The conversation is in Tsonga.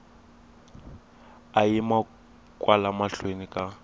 a yima kwala mahlweni ka